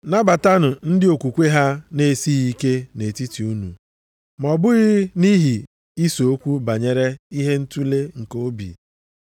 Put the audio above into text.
Nabatanụ ndị okwukwe ha na-esighị ike nʼetiti unu. Ma ọ bụghị nʼihi ise okwu banyere ihe ntule nke obi.